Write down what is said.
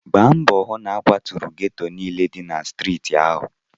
Gbaa mbọ hụ na a kwaturu geto niile dị na steeti ahụ!